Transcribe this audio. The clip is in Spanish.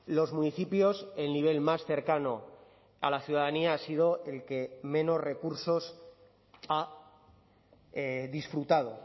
los municipios el nivel más cercano a la ciudadanía ha sido el que menos recursos ha disfrutado